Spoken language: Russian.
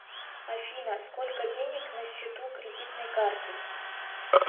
афина сколько денег на счету кредитной карты